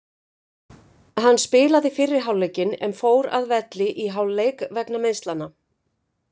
Hann spilaði fyrri hálfleikinn en fór að velli í hálfleik vegna meiðslanna.